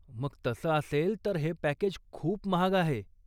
मग तसं असेल तर हे पॅकेज खूप महाग आहे.